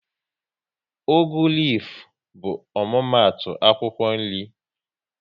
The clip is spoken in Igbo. Ugu lifu bụ omumatu akwụkwọ nri